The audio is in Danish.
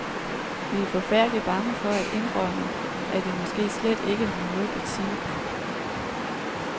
Vi er forfærdelig bange for at indrømme, at vi måske slet ikke har noget at sige.